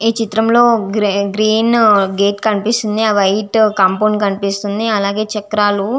ఈ చిత్రం లో గ్రీన్ గేట్ కనిపిస్తూ వుంది. ఆ వైట్ కంపొండ్ కనిపిస్తూ వుంది అలాగే చేక్రల్లు --